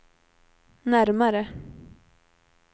närmare